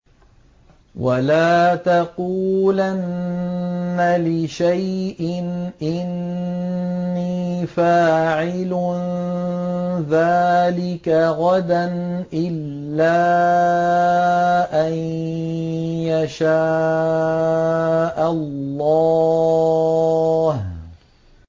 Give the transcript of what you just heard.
وَلَا تَقُولَنَّ لِشَيْءٍ إِنِّي فَاعِلٌ ذَٰلِكَ غَدًا